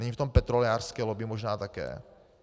Není v tom petrolejářské lobby možná také?